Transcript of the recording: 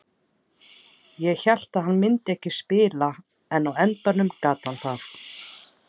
Ég hélt að hann myndi ekki spila en á endanum gat hann það.